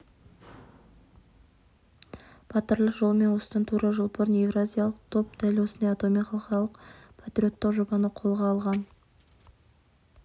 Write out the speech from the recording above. батырлар жолымен осыдан тура жыл бұрын еуразиялық топ дәл осындай атаумен халықаралық патриоттық жобаны қолға алған